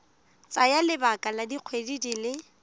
tsaya lebaka la dikgwedi di